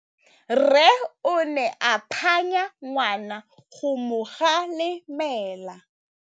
Rre o ne a phanya ngwana go mo galemela.